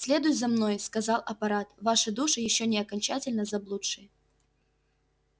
следуй за мной сказал аппарат ваши души ещё не окончательно заблудшие